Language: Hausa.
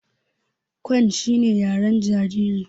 Cooing shine yaren jariri.